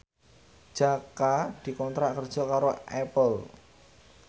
Jaka dikontrak kerja karo Apple